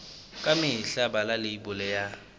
ka mehla bala leibole ya